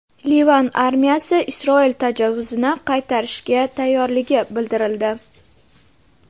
Livan armiyasi Isroil tajovuzini qaytarishga tayyorligi bildirildi.